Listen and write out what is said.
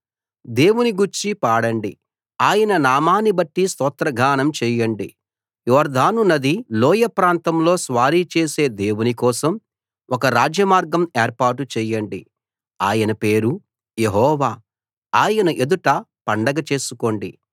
దేవుని గూర్చి పాడండి ఆయన నామాన్ని బట్టి స్తోత్రగానం చేయండి యొర్దాను నదీ లోయ ప్రాంతంలో స్వారీ చేసే దేవుని కోసం ఒక రాజమార్గం ఏర్పాటు చేయండి ఆయన పేరు యెహోవా ఆయన ఎదుట పండగ చేసుకోండి